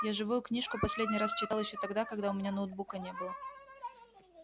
я живую книжку последний раз читал ещё тогда когда у меня ноутбука не было